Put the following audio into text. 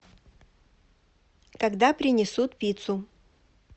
когда принесут пиццу